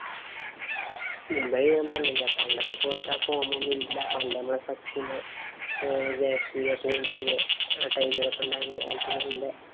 മുംബൈ ഞാന്‍ പറഞ്ഞില്ലേ. പണ്ടത്തെ പോലത്തെ ആ form ഒന്നുമില്ല. പണ്ട് നമ്മടെ സച്ചിന്, ജയസൂര്യ, പൂണ്ടിംഗ് ആ time ഇല് ഉണ്ടായിരുന്ന കാലത്തെ ഒന്നും ഇല്ല.